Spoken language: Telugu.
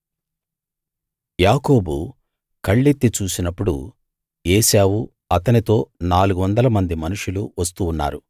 యాకోబు కళ్ళెత్తి చూసినప్పుడు ఏశావు అతనితో నాలుగువందల మంది మనుషులు వస్తూ ఉన్నారు